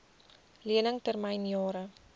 lening termyn jare